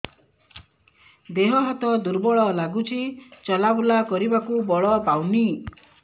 ଦେହ ହାତ ଦୁର୍ବଳ ଲାଗୁଛି ଚଲାବୁଲା କରିବାକୁ ବଳ ପାଉନି